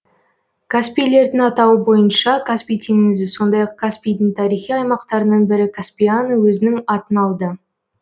каспийлердің атауы бойынша каспий теңізі сондай ақ каспийдің тарихи аймақтарының бірі каспиана өзінің атын алды